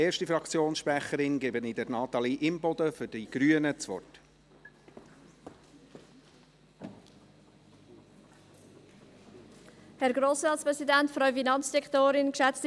Ich gebe Natalie Imboden für die Grünen als erste Fraktionssprecherin das Wort.